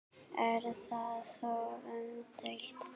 Er það þó umdeilt